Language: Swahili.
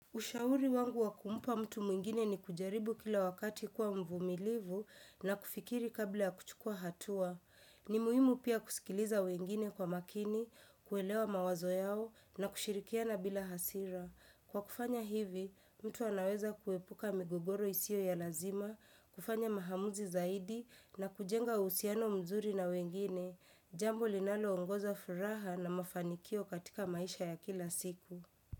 Ushauri wangu wa kumupa mtu mwingine ni kujaribu kila wakati kuwa mvumilivu na kufikiri kabla ya kuchukua hatua. Ni muhimu pia kusikiliza wengine kwa makini, kuelewa mawazo yao na kushirikiana bila hasira. Kwa kufanya hivi, mtu anaweza kuepuka migogoro isio ya lazima, kufanya mahamuzi zaidi na kujenga uhusiano mzuri na wengine. Jambo linaloongoza furaha na mafanikio katika maisha ya kila siku.